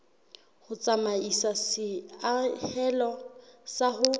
ho tsamaisa seahelo sa ho